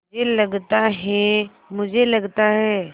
मुझे लगता है मुझे लगता है